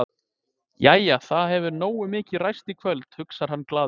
Jæja, það hefur nógu mikið ræst í kvöld, hugsar hann glaður.